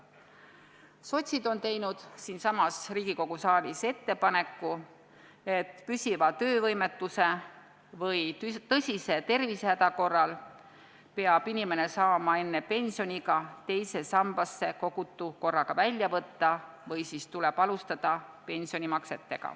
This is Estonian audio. Sotsiaaldemokraadid on teinud siinsamas Riigikogu saalis ettepaneku, et püsiva töövõimetuse või tõsise tervisehäda korral peab inimene saama enne pensioniiga teise sambasse kogutu korraga välja võtta või siis tuleb alustada pensionimakseid.